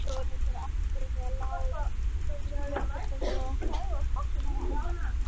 Hildiglúmur, hvar er dótið mitt?